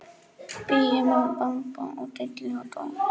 Bíum og bamba og dilli og dó.